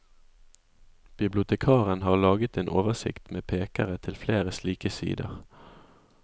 Bibliotekaren har laget en oversikt med pekere til flere slike sider.